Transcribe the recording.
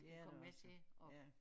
Det er der også ja